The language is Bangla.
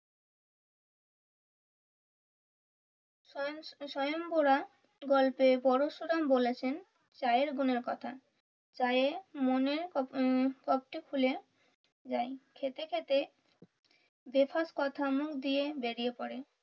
স্বয়ংবরা গল্পে পরশুরাম বলেছেন চায়ের গুনের কথা চায়ে মনে খুলে যায় খেতে খেতে বেফাস কথা মুখ দিয়ে বেরিয়ে পড়ে।